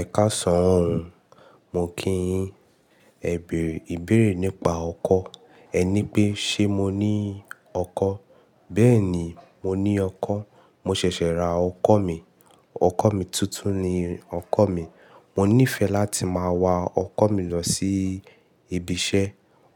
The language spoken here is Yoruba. Ẹ kasan ooo. Mo kí yin, Ebere ìbéèrè nípa ọkọ. Ẹ ní pé, ṣe mo ní ọkọ? Bẹ́ẹ̀ni, mo ní ọkọ. Mo ṣẹ̀ṣẹ̀ ra ọkọ̀ mi. Ọkọ̀ mi tuntun ni ọkọ̀ mi. Mo nífẹ̀ẹ́ láti máa wa ọkọ̀ mi lọ sí ibi iṣẹ́,